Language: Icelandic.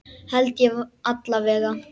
Held ég alla vega.